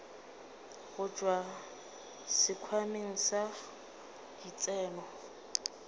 go tšwa sekhwameng sa ditseno